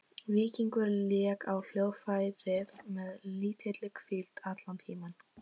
Víkingur lék á hljóðfærið með lítilli hvíld allan tímann.